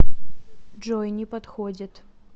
джой не подходит